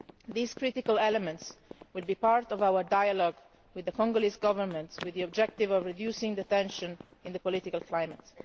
These critical elements will be part of our dialogue with the Congolese Government, with the objective of reducing tensions in the political climate.